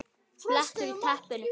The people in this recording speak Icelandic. BLETTUR Í TEPPINU